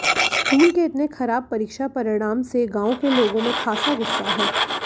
school के इतने खराब परीक्षा परिणाम से गांव के लोगों में खासा गुस्सा है